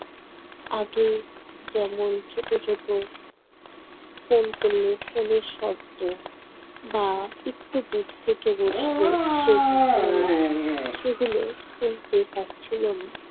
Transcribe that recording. আগে যেমন ছোট ছোট ফোন কল, ফোনের শব্দ বা একটু দূর থেকে বসলে সে কথা বলা সেগুলো শুনতে পাচ্ছিল না